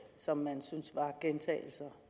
som man synes var gentagelser